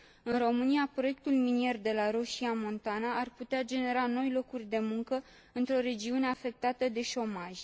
În România, proiectul minier de la Roșia Montană ar putea genera noi locuri de muncă într o regiune afectată de șomaj.